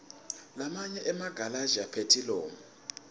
lamanye emagalashi aphethilomu